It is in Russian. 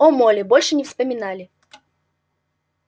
о молли больше не вспоминали